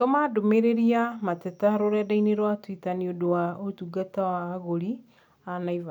Tũma ndũmĩrĩriya ya mateta rũrenda-inī rũa tũita niũndũ wa ũtungata wa agũri a Naivas